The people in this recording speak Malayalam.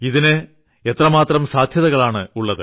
ഇതിന് എത്രമാത്രം സാധ്യതകളാണുള്ളത്